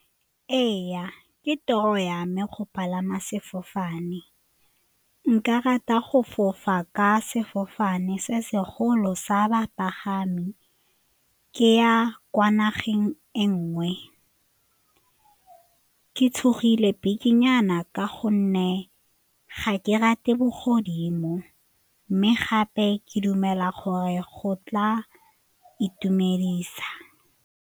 Ee, ke toro ya me go palama sefofane, nka rata go fofa ka sefofane se segolo sa bapagami, ke ya kwa nageng e nngwe, ke tshogile bikinyana ka gonne ga ke rate bogodimo mme gape ke dumela gore go tla itumedisa.